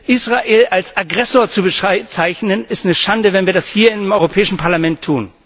Israel als Aggressor zu bezeichnen, ist eine Schande, wenn wir das hier im Europäischen Parlament tun.